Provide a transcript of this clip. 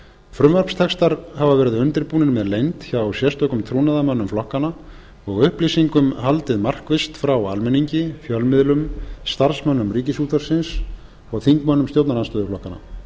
frumvarpstextar hafa verið undirbúnir með leynd hjá sérstökum trúnaðarmönnum flokkanna og upplýsingum haldið markvisst frá almenningi fjölmiðlum starfsmönnum ríkisútvarpsins og þingmönnum stjórnarandstöðuflokkanna